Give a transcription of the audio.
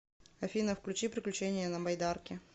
афина включи приключения на байдарке